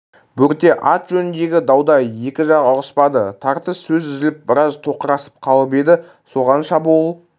бөрте ат жөніндегі дауда екі жақ ұғыспады тартыс сөз үзіліп біраз тоқырасып қалып еді соған шабуыл